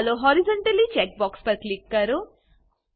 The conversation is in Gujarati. ચાલો હોરિઝોન્ટલી ચેક બોક્ક્ષ પર ક્લિક કરો